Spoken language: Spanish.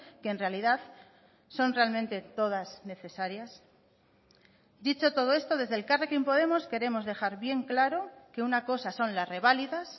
que en realidad son realmente todas necesarias dicho todo esto desde elkarrekin podemos queremos dejar bien claro que una cosa son las reválidas